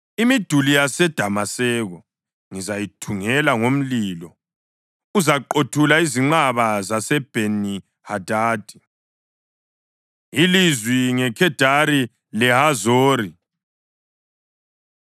“Imiduli yaseDamaseko ngizayithungela ngomlilo; uzaqothula izinqaba zaseBheni-Hadadi.” Ilizwi NgeKhedari LeHazori